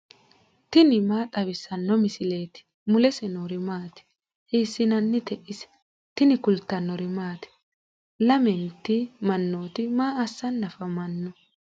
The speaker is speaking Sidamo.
tini maa xawissanno misileeti ? mulese noori maati ? hiissinannite ise ? tini kultannori maati? lamenti manootti ma assanni afammanno?